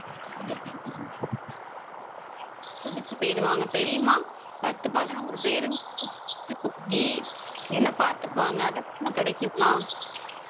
துடிச்சு போயிடுவாங்க. தெரியுமா பத்து பதினோரு பேரு என்னை பார்த்துப்பாங்க. அதெல்லாம் அங்க கிடைக்குமா?